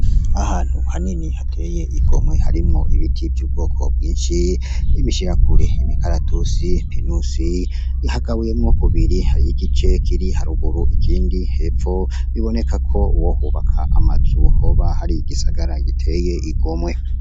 Ahantu hanini hateye igomwe harimwo ibiti vy'ubwoko bwinshi, ibishirakure, imikaratusi, pinusi, hagabuyemwo kubiri. Hariho igice kiri haruguru ikindi hepfo, biboneka ko uwohubaka amazu hoba hari igisagara giteye igomwe.